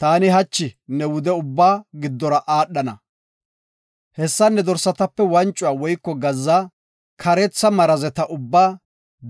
Taani hachi ne wude ubbaa giddora aadhana. Hessan ne dorsatape wancuwa woyko gazza, kareetha marazeta ubbaa,